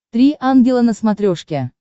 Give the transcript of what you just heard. три ангела на смотрешке